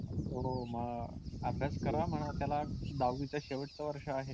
हो मग अभ्यास करा म्हणावं त्याला दहावीचं शेवटचं वर्ष आहे.